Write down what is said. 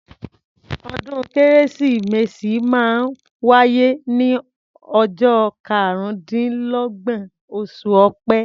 Ọdún kérésìmesì máa ń wáyé ní ọjọ́ karúndínlọ́gbọ̀n, oṣù ọpẹ́